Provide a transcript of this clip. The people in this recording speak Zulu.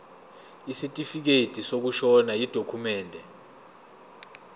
isitifikedi sokushona yidokhumende